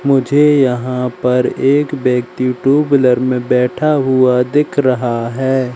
मुझे यहां पर एक व्यक्ति टू व्हीलर में बैठा हुआ दिख रहा है।